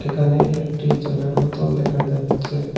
এখানে একটি জলের বোতল দেখা যাচ্ছে।